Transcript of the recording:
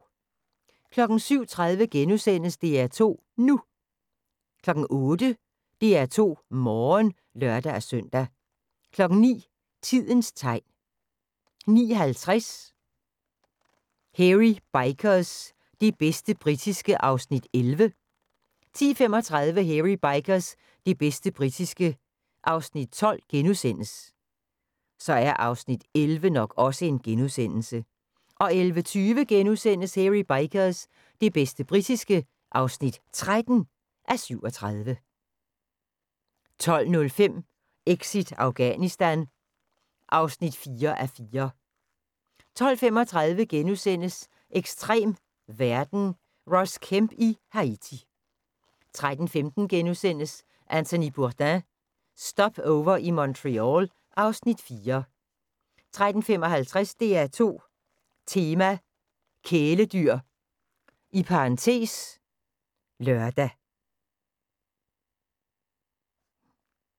07:30: DR2 NU * 08:00: DR2 Morgen (lør-søn) 09:00: Tidens tegn 09:50: Hairy Bikers – det bedste britiske (11:37) 10:35: Hairy Bikers – det bedste britiske (12:37)* 11:20: Hairy Bikers – det bedste britiske (13:37)* 12:05: Exit Afghanistan (4:4) 12:35: Ekstrem verden – Ross Kemp i Haiti * 13:15: Anthony Bourdain – Stopover i Montreal (Afs. 4)* 13:55: DR2 Tema: Kæledyr (lør)